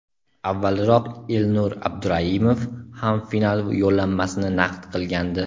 Avvalroq Elnur Abduraimov ham final yo‘llanmasini naqd qilgandi.